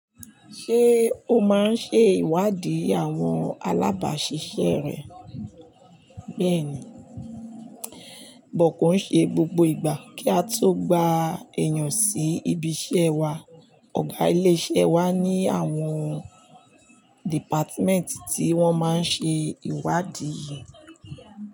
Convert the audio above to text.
Ṣé o máa ń ṣe ìwádìí àwọn alábàáṣiṣẹ́ rẹ? Bẹ́ẹ̀ ni, but ko ń ṣe gbogbo ìgbà. Kí á tó gba èèyàn sí ibi iṣẹ́ wa, ọ̀gá ilé iṣẹ́ wa ní àwọn dìpátímẹ́ǹtì tí wọ́n máa ń ṣe ìwádìí.